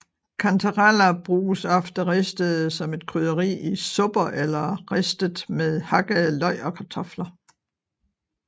Kantareller bruges ofte ristede som et krydderi i supper eller ristes med hakkede løg og kartofler